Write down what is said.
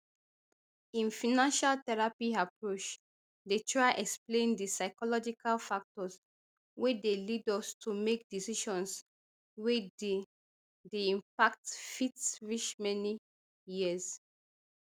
im financial therapy approach dey try explain di psychological factors wey dey lead us to make decisions wey di di impact fit reach many years